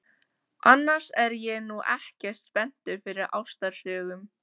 Annars er ég nú ekkert spenntur fyrir ástarsögum.